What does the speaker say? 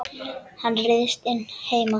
Hún ryðst inn heima.